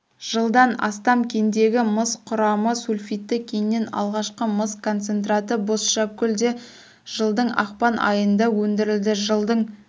жылдан астам кендегі мыс құрамы сульфидті кеннен алғашқы мыс концентраты бозшакөлде жылдыңақпан айында өндірілді жылдың